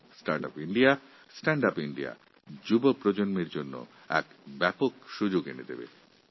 start up India stand up India যুবা বন্ধুদের জন্য এক বড় সুযোগ নিয়ে এসেছে